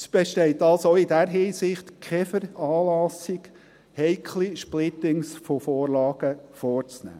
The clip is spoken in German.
Es besteht also auch in dieser Hinsicht keine Veranlassung, heikle Splittings von Vorlagen vorzunehmen.